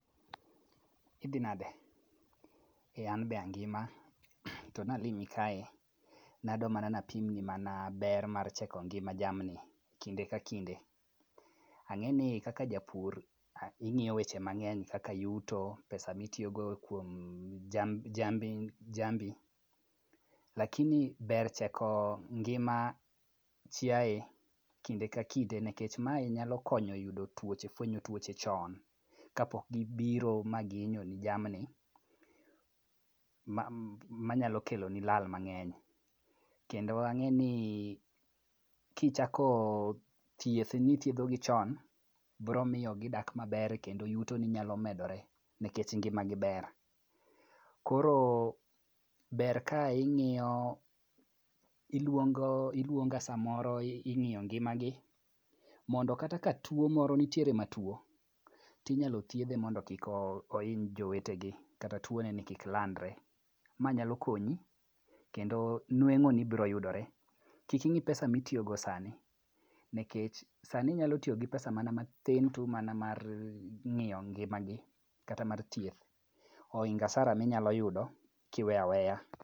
Idhi nade. An be angima to nalimi kae, nadwa mana napimni mana ber mar cheko ngima jamni kinde ka kinde. Ang'eni kaka japur, ing'iyo weche mang'eny kaka yuto, pesa mitiyogo kuom jambi, lakini ber cheko ngima chiaye kinde ka kinde nikech mae nyalo konyo yudo tuoche ,fwenyo tuoche chon kapok gibiro ma gihinyoni jamni, manyalo keloni lal mang'eny kendo ang'eni kichako thieth ni ithiedhogi chon, biro miyo gidak maber kendo yutoni nyalo medore nikech ngimagi ber. Koro ber ka ing'iyo, ilwonga samoro ing'iyo ngimagi mondo kata ka tuo moro, nitiere matuwo, tinyalo thiedhe mondo kik ohiny jowetegi kata tuoneni kik landre., Ma nyalo konyi kendo nweng'oni biro yudore. Kik ing'i pesa mitiyogo sani nikech sani inyalo tiyogi pesa mana matin tu mana mar ng'iyo ngimagi kata mar thieth. Ohingo asara minyalo yudo kiweyo aweya.